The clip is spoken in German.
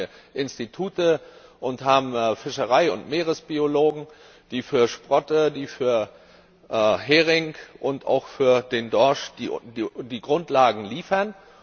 Dafür haben wir Institute und haben Fischerei und Meeresbiologen, die für Sprotte, für Hering und auch für den Dorsch die Grundlagen liefern.